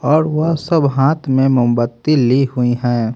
और वह सब हाथ में मोमबत्ती ली हुई हैं।